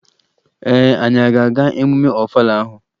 Ee, anyị ga-aga emume Ọfala ahụ